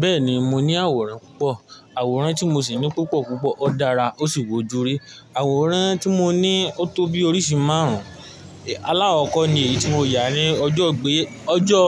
Bẹ́ẹ̀ni mo ní àwòrán púpọ̀, àwòrán tí mo sì ní púpọ̀ púpọ̀ ó dára ó sì bu ojú ri. Àwòrán tí mo ní ó tó bí oríṣi márùn-ún. Alákoko ni èyí tí mo yà ní ọjọ́ gbé-- ọjọ́,